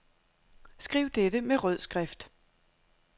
Skriv dette med rød skrift.